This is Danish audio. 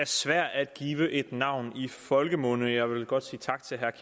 svært at give et navn i folkemunde jeg vil godt sige tak til herre